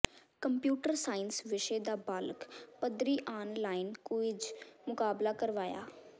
computer science ਵਿਸ਼ੇ ਦਾ block ਪੱਧਰੀ ਆਨ ਲਾਈਨ ਕੁਇਜ਼ ਮੁਕਾਬਲਾ ਕਰਵਾਇਆ